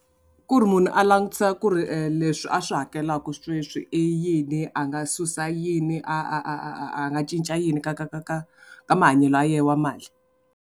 Ku ri munhu a langutisa ku ri leswi a swi hakelaka sweswi i yini a nga susa yini a a a a a nga cinca yini ka ka ka ka ka mahanyelo ya yena wa mali.